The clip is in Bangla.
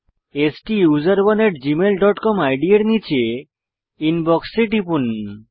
স্টুসেরনে আত জিমেইল ডট কম ইদ এর নীচে ইনবক্স এ টিপুন